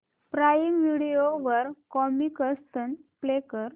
prime Video वर Comicstaan play कर